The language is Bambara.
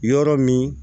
Yɔrɔ min